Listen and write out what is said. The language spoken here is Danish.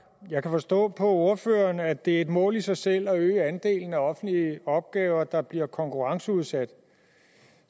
jeg kan forstå på ordføreren at det er et mål i sig selv at øge andelen af offentlige opgaver der bliver konkurrenceudsat